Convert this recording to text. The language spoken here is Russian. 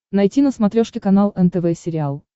найти на смотрешке канал нтв сериал